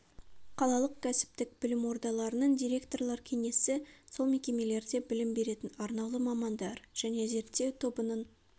қалалық кәсіптік білім ордаларының директорлар кеңесі сол мекемелерде білім беретін арнаулы мамандар жіне зерттеу тобының